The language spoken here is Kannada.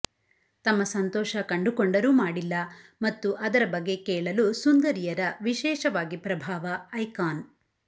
ತಮ್ಮ ಸಂತೋಷ ಕಂಡುಕೊಂಡರು ಮಾಡಿಲ್ಲ ಮತ್ತು ಅದರ ಬಗ್ಗೆ ಕೇಳಲು ಸುಂದರಿಯರ ವಿಶೇಷವಾಗಿ ಪ್ರಭಾವ ಐಕಾನ್